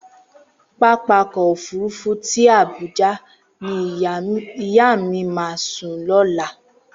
Pápákọ̀ òfuurufú tí Àbújá ni ìyá mi máa sùn lọ́la.